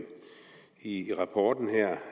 en og